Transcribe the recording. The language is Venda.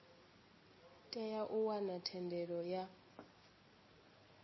tea u wana thendelo ya